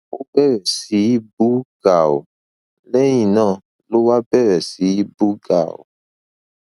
ó bẹrẹ sí í bú gàù lẹyìn náà ló wá bẹrẹ sí í bú gàù